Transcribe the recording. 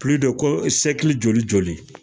joli joli.